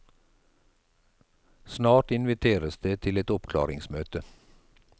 Snart inviteres det til et oppklaringsmøte.